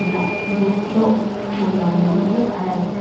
o’nena gurcho kulannoehu ayeeti?